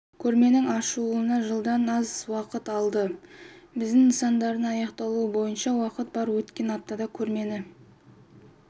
көрменің ашылуына бір жылдан аз уақыт қалды бізде нысандардың аяқталуы бойынша уақыт бар өткен аптада көрмені